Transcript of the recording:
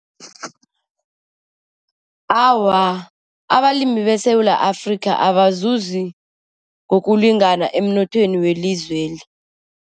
Awa, abalimi beSewula Afrika abazuzi ngokulingana emnothweni welizweli.